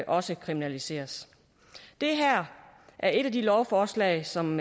også kriminaliseres det her er et af de lovforslag som